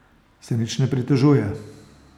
Se nič ne pritožuje?